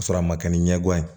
K'a sɔrɔ a ma kɛ ni ɲɛgoya ye